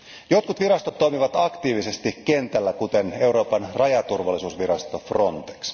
Jotkut virastot toimivat aktiivisesti kentällä kuten EUn rajaturvallisuusvirasto FRONTEX.